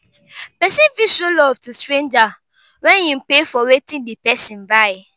persin fit show love to stranger when im pay for wetin di person buy